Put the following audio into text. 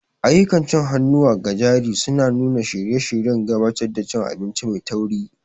Ayyukan cin hannuwa ga jarirai suna nuna shirye-shiryen gabatar da cin abinci mai tauri.